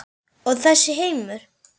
Og þessi heimur?